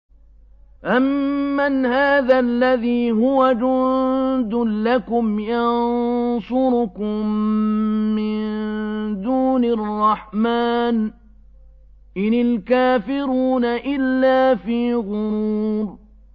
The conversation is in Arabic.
أَمَّنْ هَٰذَا الَّذِي هُوَ جُندٌ لَّكُمْ يَنصُرُكُم مِّن دُونِ الرَّحْمَٰنِ ۚ إِنِ الْكَافِرُونَ إِلَّا فِي غُرُورٍ